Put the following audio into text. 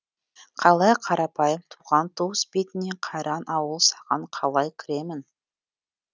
қалай қарапайым туған туыс бетіне қайран ауыл саған қалай кіремін